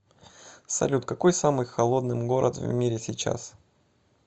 салют какой самый холодным город в мире сейчас